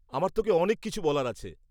আমার তোকে অনেক কিছু বলার আছে।